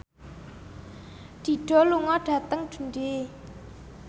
Dido lunga dhateng Dundee